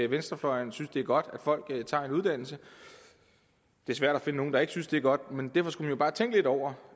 venstrefløjen synes det er godt at folk tager en uddannelse det er svært at finde nogen der ikke synes det er godt men derfor skulle de jo bare tænke lidt over